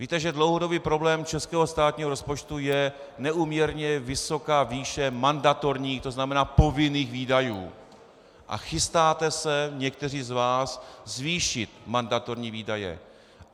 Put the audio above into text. Víte, že dlouhodobý problém českého státního rozpočtu je neúměrně vysoká výše mandatorních, to znamená povinných výdajů, a chystáte se někteří z vás zvýšit mandatorní výdaje.